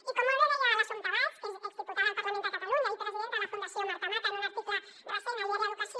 i com molt bé deia l’assumpta baig que és exdiputada al parlament de catalunya i presidenta de la fundació marta mata en un article recent a el diari de l’educació